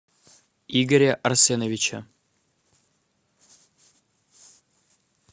игоря арсеновича